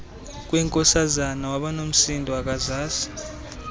kwenkosazana wabanomsindo akazazi